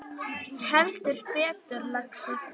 Heldur betur, lagsi